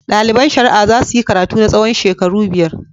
Ɗaliban shari'a za su yi karatu na tsawon shekaru biyar.